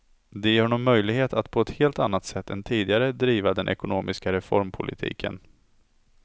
Det ger honom möjlighet att på ett helt annat sätt än tidigare driva den ekonomiska reformpolitiken.